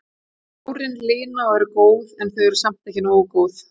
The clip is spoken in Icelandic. Tárin lina og eru góð en þau eru samt ekki nógu góð.